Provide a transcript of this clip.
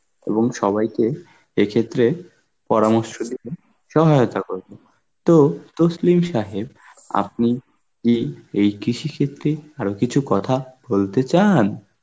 এবং সবাইকে এই ক্ষেত্রে পরামর্শ দেবেন, সহায়তা করবেন. তো তসলিম সাহেব আপনি কি এই কৃষি সিথি আরো কিছু কথা বলতে চান?